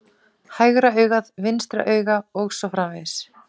Hægra auga vinstra auga os. frv.